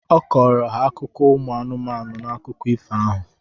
Ọ kọrọ ha akụkọ ụmụ anụ n’akụkọ ifo ahụ